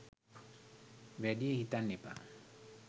වැඩිය හිතන්න එපා